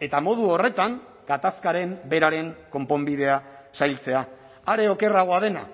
eta modu horretan gatazkaren beraren konponbidea zailtzea are okerragoa dena